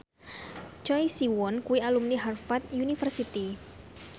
Choi Siwon kuwi alumni Harvard university